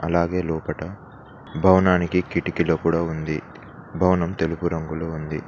అలాగే లోపట భవనానికి కిటికీలు కూడా ఉంది భవనం తెలుపు రంగులో ఉంది.